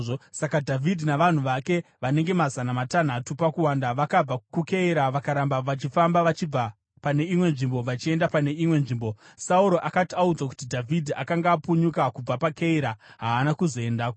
Saka Dhavhidhi navanhu vake, vanenge mazana matanhatu pakuwanda, vakabva kuKeira vakaramba vachifamba vachibva pane imwe nzvimbo vachienda pane imwe nzvimbo. Sauro akati audzwa kuti Dhavhidhi akanga apunyuka kubva paKeira, haana kuzoendako.